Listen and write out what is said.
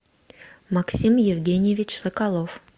максим евгеньевич соколов